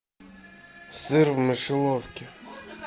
сыр в мышеловке